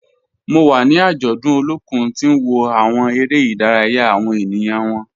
Mo wa ni ajọdun Olokun ti n wo awọn ere-idaraya awọn eniyan wọn.